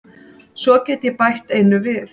Svo get ég bætt einu við.